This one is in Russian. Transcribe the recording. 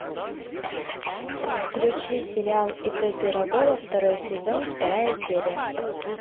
включи сериал ип пирогова второй сезон вторая серия